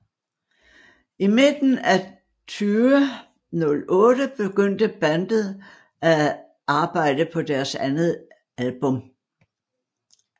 I midten af 2008 begyndte bandet at arbejde på deres andet album